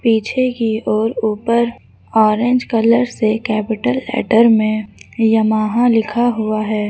पीछे की ओर ऊपर ऑरेंज कलर से कैपिटल लेटर में यमाहा लिखा हुआ है।